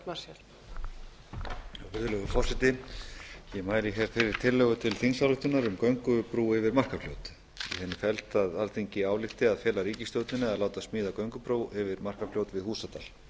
virðulegur forseti ég mæli hér fyrir tillögu til þingsályktunar um göngubrú yfir markarfljót í henni felst að alþingi álykti að fela ríkisstjórninni að láta smíða göngubrú yfir markarfljót við húsadal